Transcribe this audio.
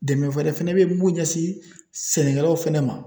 Dɛmɛ wɛrɛ fɛnɛ be ye mun ɲɛsin sɛnɛkɛlaw fɛnɛ ma